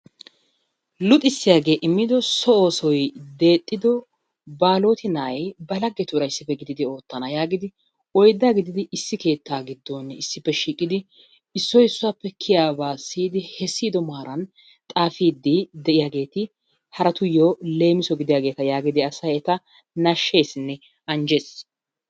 Luxissiyaage immido so oosoy deexido Baaloti nay ba laggetuura issippe gididi oottana yaagidi oydda gididi issi keetta giddon issippe shiiqidi issoy issuwappe kiyiyyaaba siyyidi he siyiddo maaran xaafidi de'iyaageeti haratuyyo leemisso gidiyaageeta yaagidi asay eta nashsheesinne anjjees.